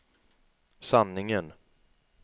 sanningen